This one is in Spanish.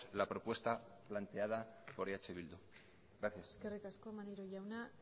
la propuesta planteada por eh bildu gracias eskerrik asko maneiro jauna